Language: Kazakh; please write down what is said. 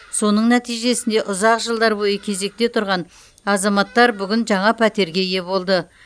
соның нәтижесінде ұзақ жылдар бойы кезекте тұрған азаматтар бүгін жаңа пәтерге ие болды